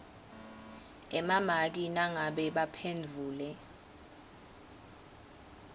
emamaki nangabe baphendvule